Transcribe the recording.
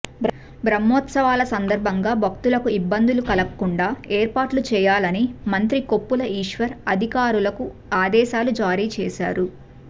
బ్రహ్మోత్సవాల సందర్భంగా భక్తులకు ఇబ్బందులు కలుగకుండా ఏర్పాట్లు చేయాలని మంత్రి కొప్పుల ఈశ్వర్ అధికారులకు ఆదేశాలు జారీ చేశారు